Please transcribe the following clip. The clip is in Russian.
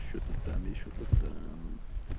что то там ещё да там